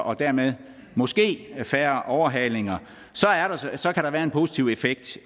og dermed måske færre overhalinger så kan der være en positiv effekt